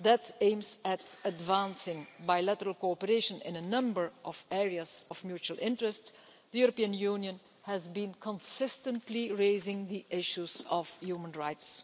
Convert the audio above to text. that aims to advance bilateral cooperation in a number of areas of mutual interest, the European Union has been consistently raising issues of human rights.